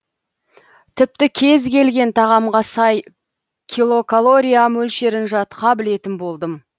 тіпті кез келген тағамға сай килокалории мөлшерін жатқа білетін болдым